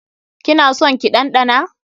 Ki na son ki ɗanɗana?